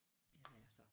Ja det er så